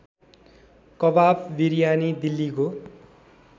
कबाब बिरयानी दिल्लीको